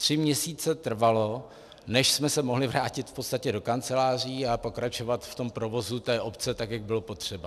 Tři měsíce trvalo, než jsme se mohli vrátit v podstatě do kanceláří a pokračovat v tom provozu té obce, tak jak bylo potřeba.